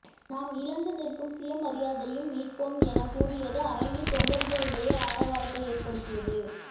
நாம் இழந்து நிற்கும் சுயமரியாதையும் மீட்போம் என கூறியது அரங்கில் தொண்டர்களிடையே ஆரவாரத்தை ஏற்படுத்தியது